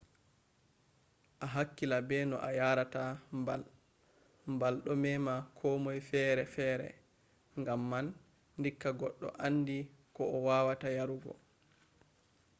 a hakkila be no a yarata mbal. mbal ɗo mema komoi fere fere gam man dikka goɗɗo andi ko o wawata yarugo